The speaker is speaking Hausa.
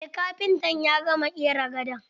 Eh kafintan ya gama ƙera gadon.